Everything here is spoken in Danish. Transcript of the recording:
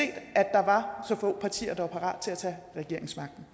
der var så få partier der var parat til at tage regeringsmagten